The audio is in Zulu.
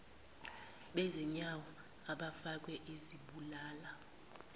bezinyawo abafakwe izibulala